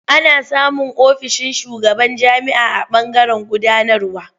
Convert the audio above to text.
Ana samun ofishin shugaban jami'a a ɓangaren gudanarwa.